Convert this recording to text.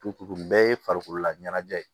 Tu bɛɛ ye farikololaɲɛnajɛ ye